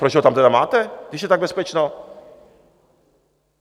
Proč ho tam tedy máte, když je tak bezpečno?